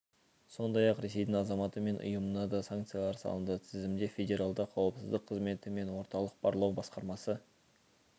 сондай-ақ ресейдің азаматы мен ұйымына да санкциялар салынды тізімде федералды қауіпсіздік қызметі мен орталық барлау басқармасы